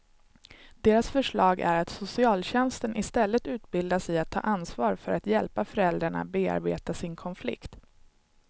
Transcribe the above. Deras förslag är att socialtjänsten istället utbildas i att ta ansvar för att hjälpa föräldrarna bearbeta sin konflikt.